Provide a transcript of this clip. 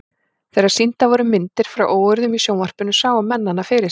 Þegar sýndar voru myndir frá óeirðum í sjónvarpinu sáu menn hana fyrir sér.